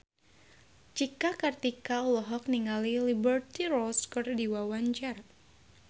Cika Kartika olohok ningali Liberty Ross keur diwawancara